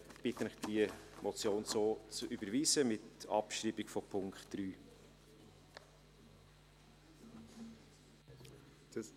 Ich bitte Sie, diese Motion so zu überweisen, mit Abschreibung des Punkts 3.